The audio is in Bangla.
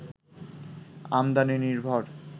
আমদানি নির্ভর